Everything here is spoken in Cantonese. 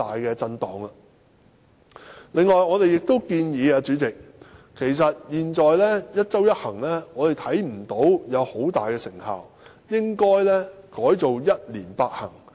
主席，由於我們看不到現時的"一周一行"具有很大成效，所以我們建議改為"一年八行"。